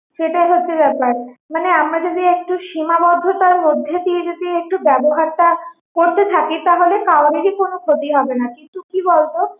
সেটাই হচ্ছে ব্যাপার মানে আমরা যদি একটু সীমাবদ্ধতার মধ্যে দিয়ে যদি একটু ব্যাবহারটা করতে থাকি তাহলে কারোরি কোনো ক্ষতি হবে না কিন্তু কি বলতো